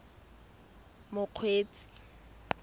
mokgweetsi